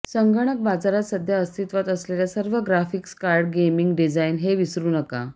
संगणक बाजारात सध्या अस्तित्वात असलेल्या सर्व ग्राफिक्स कार्ड गेमिंग डिझाइन हे विसरू नका